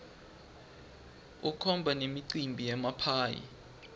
kukhona nemicimbi yemaphayhi